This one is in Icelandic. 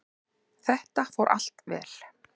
Þetta fór allt vel.